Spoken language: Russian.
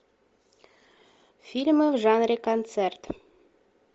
фильмы в жанре концерт